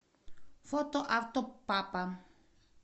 фото автопапа